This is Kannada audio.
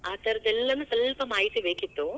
ಆ ಥರದ ಎಲ್ಲಾನೂ ಸ್ವಲ್ಪ ಮಾಹಿತಿ ಬೇಕಿತ್ತು.